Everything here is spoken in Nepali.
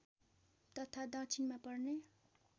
तथा दक्षिणमा पर्ने